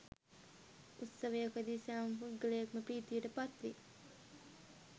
උත්සවයකදී සෑම පුද්ගලයෙක්ම ප්‍රීතියට පත්වේ